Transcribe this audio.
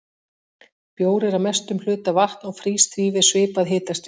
Bjór er að mestum hluta vatn og frýs því við svipað hitastig.